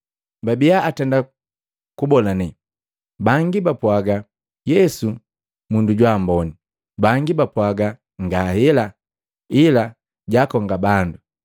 Babiya atenda kubolane. Bangi bapwaaga, “Yesu mundu jwa amboni” Bangi bapwaaga, “Ngahela, ila jaakonga bandu.”